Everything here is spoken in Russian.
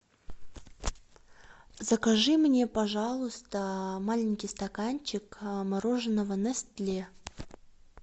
закажи мне пожалуйста маленький стаканчик мороженого нестле